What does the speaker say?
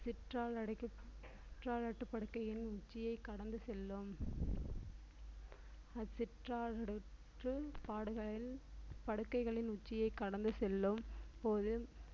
அட்டுப்படுக்கையின் உச்சியை கடந்து செல்லும் அச்சிற்றால் நடைபெற்று பாடுகளில் படுக்கைகளின் உச்சியை கடந்து செல்லும் போது